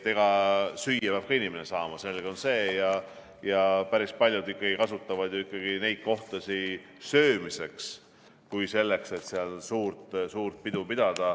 Süüa peab inimene ka saama, see on selge, ja päris paljud kasutavad neid kohtasid ikkagi söömiseks, mitte selleks, et seal suurt pidu pidada.